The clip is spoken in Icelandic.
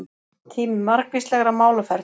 Tími margvíslegra málaferla